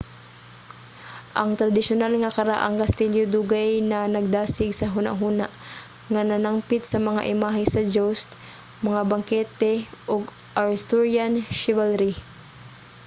ang tradisyonal nga karaang kastilyo dugay na nagdasig sa hunahuna nga nanangpit sa mga imahe sa joust mga bangkete ug arthurian chivalry